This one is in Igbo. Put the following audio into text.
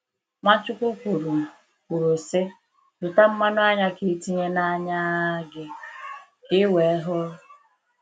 Nwachukwu kwuru, kwuru, sị: “zụta mmanụ anya ka ị tinye n’anya gị ka i wee hụ.”